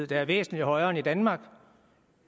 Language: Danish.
der er væsentlig højere end i danmark